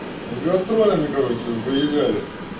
с гастролями короче выезжали